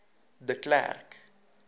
de klerk